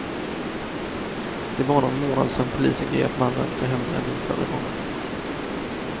Det är bara någon månad sedan polisen grep mannen för hembränning förra gången.